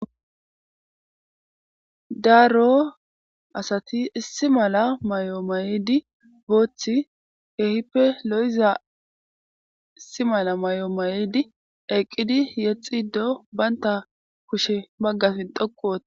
daaro asati issi mala may7o mayidi booththi keehippe lo7iza issi mala may7o may7idi eqqidi yexi do baynta kushe baggafin dhoku woota